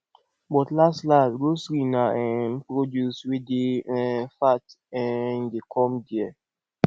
but last last grocery na um produce wey dey um fat um dey come there